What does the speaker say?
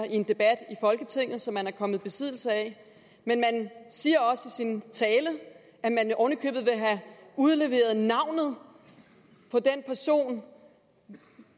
i en debat i folketinget som man er kommet i besiddelse af men man siger også i sin tale at man oven i købet have udleveret navnet på den person